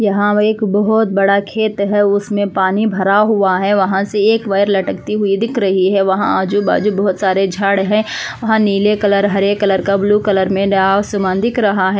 यहाँ एक बोहोत बड़ा खेत हैं उसमे पानी भड़ा हुआ हैं वहां से एक वायर लटकती हुई दिख रही हैं वहाँ आजु-बाजु बोहोत से झड़ हैं नील कलर हरे कलर का बुलु कलर में आसमान दिख रहा हैं।